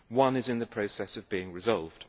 One is in the process of being resolved.